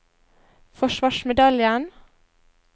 forsvarsmedaljen